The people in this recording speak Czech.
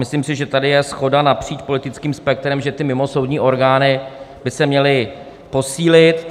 Myslím si, že tady je shoda napříč politickým spektrem, že ty mimosoudní orgány by se měly posílit.